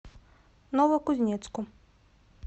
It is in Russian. новокузнецку